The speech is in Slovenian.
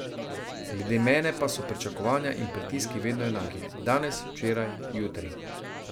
Glede mene pa so pričakovanja in pritiski vedno enaki, danes, včeraj, jutri ...